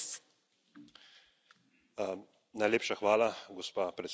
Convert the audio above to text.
Najlepša hvala, gospa predsedujoča, spoštovane in spoštovani.